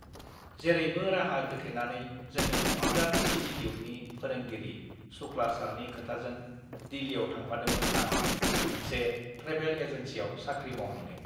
जेरैबो राहा गोथेनानै जोंनि कमपिउटार इन्सिटिटिउटनि फोरोंगिरि सुक्ला सारनि खोथाजों दिल्लियाव थांफादोंमोन आं मोनसे ट्रेभेल एजेन्सियाव साख्रि मावहैनो